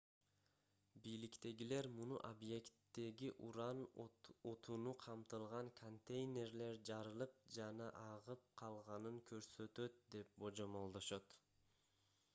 бийликтегилер муну объекттеги уран отуну камтылган контейнерлер жарылып жана агып калганын көрсөтөт деп божомолдошот